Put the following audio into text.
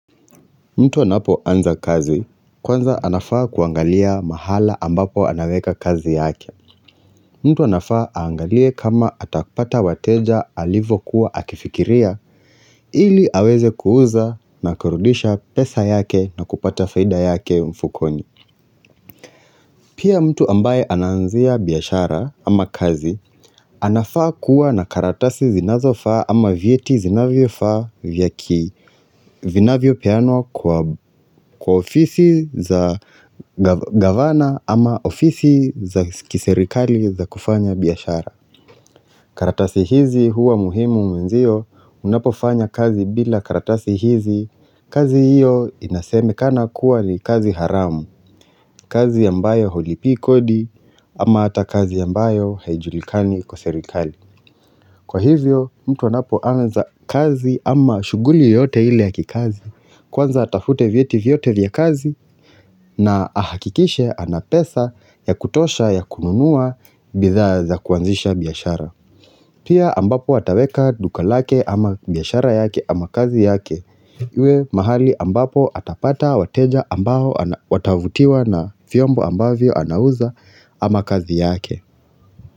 Mtu anapo anza kazi, kwanza anafaa kuangalia mahala ambapo anaweka kazi yake. Mtu anafaa aangalie kama atapata wateja alivo kuwa akifikiria, ili aweze kuuza na kurudisha pesa yake na kupata faida yake mfukoni. Pia mtu ambaye anaanzia biashara ama kazi, anafaa kuwa na karatasi zinazofaa ama vyeti zinavyo faa vyaki, vinavyo peanwa kwa ofisi za gavana ama ofisi za kiserikali za kufanya biyashara. Karatasi hizi huwa muhimu mwenzio unapofanya kazi bila karatasi hizi, kazi hiyo inasemekana kuwa ni kazi haramu, kazi ambayo hulipii kodi ama hata kazi ambayo haijulikani kwa serikali. Kwa hivyo mtu anapo anza kazi ama shughuli yoyote ile ya kikazi, kwanza atafute vyeti vyote vya kazi na ahakikishe anapesa ya kutosha ya kununua bidhaa za kuanzisha biashara. Pia ambapo ataweka duka lake ama biashara yake ama kazi yake, iwe mahali ambapo atapata wateja ambao watavutiwa na vyombo ambavyo anauza ama kazi yake.